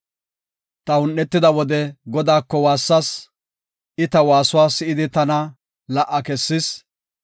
Ta un7etida wode Godaako waassas; I ta waasuwa si7idi tana la77a kessis.